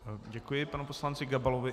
Děkuji panu poslanci Gabalovi.